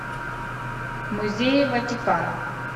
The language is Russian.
музеи ватикана